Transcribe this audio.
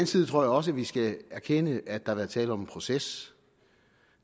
side tror jeg også vi skal erkende at der har været tale om en proces